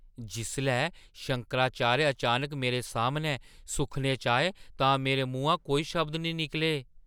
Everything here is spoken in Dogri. जिसलै शंकराचार्य अचानक मेरे सामनै सुखने च आए तां मेरे मुहां कोई शब्द नेईं निकले।